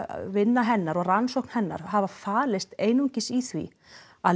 vinna hennar og rannsókn hennar hafa falist einungis í því að